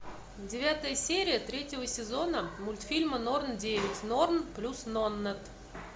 девятая серия третьего сезона мультфильма норн девять норн плюс нонет